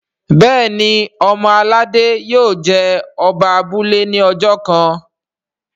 Béèni ọmọ aládé yio jé Oba abúlé ní ojó kán.